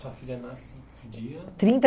Sua filha nasce em que dia? Trinta